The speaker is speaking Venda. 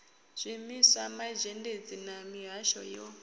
zwiimiswa mazhendedzi na mihasho yo